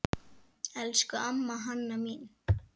Elsku amma Hanna mín.